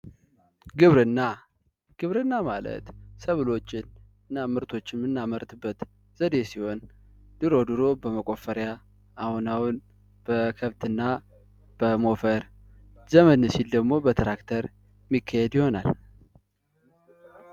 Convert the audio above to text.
ግብርና ግብርና ማለት ሰብሎችን እና ምርቶችን የምናመርትበት ዘዴ ሲሆን ድሮ ድሮ በመቆፈሪያ አሁን ደግሞ በከብትና በሞፈር ዘመን ሲል ደግሞ በትራክተር የሚካሄድ ይሆናል።